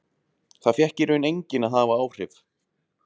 Það fékk í raun enginn að hafa áhrif.